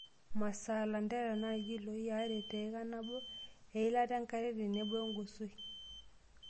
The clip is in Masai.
Masaa:Lanterera naa ilkiloi aare teika nabo, elita enkare tenebo engosoi.